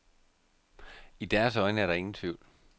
I deres øjne er der ingen tvivl.